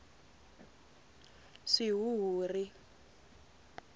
swihuhuri